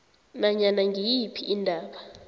nanyana ngiyiphi indaba